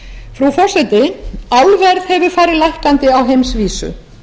frú forseti álverð hefur farið lækkandi á heimsvísu